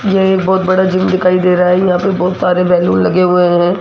यह एक बहुत बड़ा जिम दिखाई दे रहा है यहां पर बहुत सारे बैलून लगे हुए हैं।